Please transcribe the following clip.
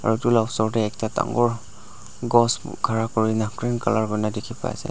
aru edu la osor tae ekta dangor gost khara kurina green colour kurina dikhiase.